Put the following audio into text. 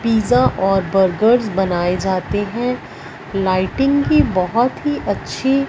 pizza और burgers बनाए जाते हैं लाइटिंग भी बहोत ही अच्छी--